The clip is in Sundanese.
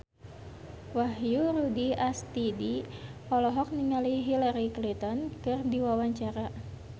Wahyu Rudi Astadi olohok ningali Hillary Clinton keur diwawancara